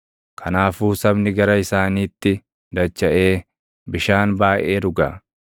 Kanaafuu sabni gara isaaniitti dachaʼee bishaan baayʼee dhuga.